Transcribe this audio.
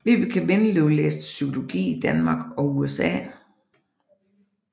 Vibeke Windeløv læste psykologi i Danmark og USA